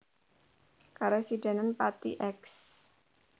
Karesidenan Pati Eks